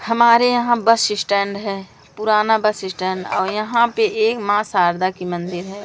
हमारे यहां bus stand है पुराना बस स्टैंड और यहां पे एक मां शारदा की मंदिर है।